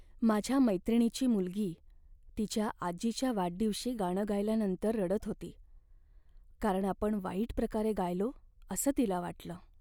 माझ्या मैत्रिणीची मुलगी तिच्या आजीच्या वाढदिवशी गाणं गायल्यानंतर रडत होती, कारण आपण वाईट प्रकारे गायलो असं तिला वाटलं.